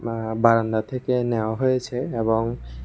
আ বারান্দা থেকে নেওয়া হয়েছে এবং--